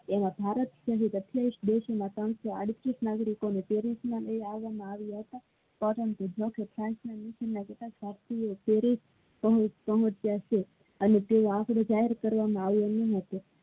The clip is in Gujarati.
એવા ભારત દેશ માં ત્રણસોને આડત્રીસ નગરી કે ને લઈ એવામાં આવિયા હતા પરંતુ ભારતીય perish અને તેનું જાહેર કરવામાં આવ્યુ નહિ